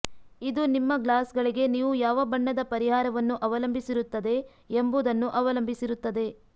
ಇದು ನಿಮ್ಮ ಗ್ಲಾಸ್ಗಳಿಗೆ ನೀವು ಯಾವ ಬಣ್ಣದ ಪರಿಹಾರವನ್ನು ಅವಲಂಬಿಸಿರುತ್ತದೆ ಎಂಬುದನ್ನು ಅವಲಂಬಿಸಿರುತ್ತದೆ